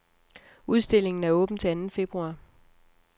Udstillingen er åben til anden februar.